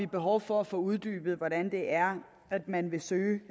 behov for at få uddybet hvordan man vil søge